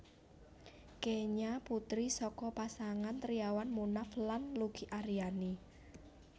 Kenya putri saka pasangan Triawan Munaf lan Luki Ariani